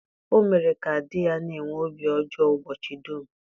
O mere ka di ya na-enwe obi ọjọọ ụbọchị dum.